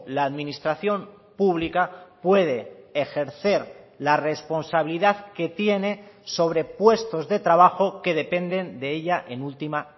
la administración pública puede ejercer la responsabilidad que tiene sobre puestos de trabajo que dependen de ella en última